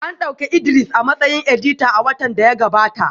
An dauki Idris a matsayin edita a watan da ya gabata